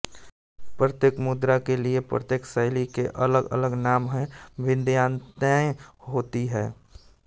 प्रत्येक मुद्रा के लिए प्रत्येक शैली के अलगअलग नाम और भिन्नताएं होती हैं